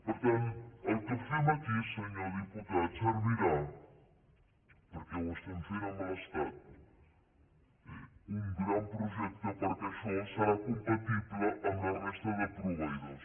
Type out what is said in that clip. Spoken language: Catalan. per tant el que fem aquí senyor diputat servirà perquè ho estem fent amb l’estat un gran projecte perquè això serà compatible amb la resta de proveïdors